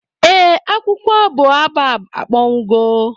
ee, akwụkwọ boabab akpọnwụgo